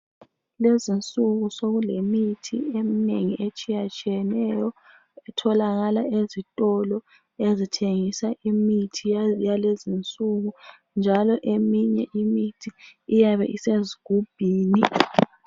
Lezinsuku sokulemithi eminengi etshiyatshiyeneyo itholakala ezitolo ezithengisa imithi yalezinsuku njalo eminye imithi iyabe isezigubhini.